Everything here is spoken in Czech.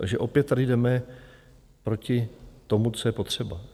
Takže opět tady jdeme proti tomu, co je potřeba.